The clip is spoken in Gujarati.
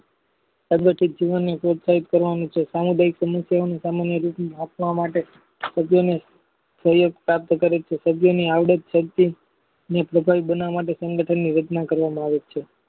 સંગઠિત જીવનોની પ્રોત્સાહિત કરવાની છે સામુદાયિક સમસ્યાની સામાન્ય રીતિ રાખવા માટે સભ્યને પ્રાપ્ત કરે છે સભ્યની આયોડેક્ષ કંપની ની પાતાળ બનાવી ની સંગઠન રચના કરવામાં આવે છે